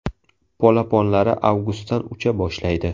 Polaponlari avgustdan ucha boshlaydi.